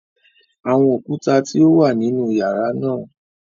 Awọn okuta ti o wa ninu yara naa